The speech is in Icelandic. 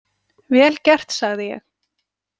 Vel gert, sagði ég.